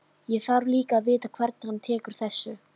Ég þarf líka að vita hvernig hann tekur þessu.